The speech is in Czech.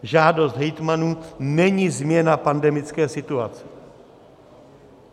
Žádost hejtmanů není změna pandemické situace.